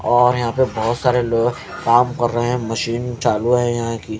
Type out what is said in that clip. और यहां पे बहुत सारे लोग काम कर रहे हैं मशीन चालू है यहां की।